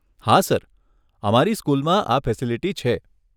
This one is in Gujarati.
હા સર, અમારી સ્કૂલમાં આ ફેસીલીટી છે.